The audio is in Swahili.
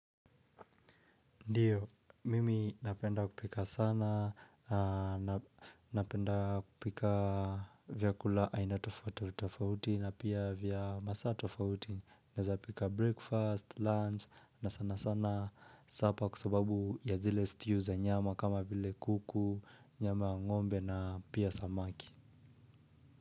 Ndiyo, mimi napenda kupika sana, napenda kupika vyakula aina tofauti tofauti na pia vya masaa tofauti. Naeza pika breakfast, lunch na sana sana supper kwa sababu ya zile stew za nyama kama vile kuku, nyama ya ng'ombe na pia samaki.